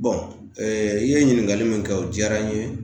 i ye ɲininkali mun kɛ o diyara n ye.